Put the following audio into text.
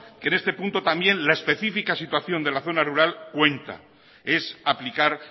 que en este punto también la especifica situación de la zona rural cuenta es aplicar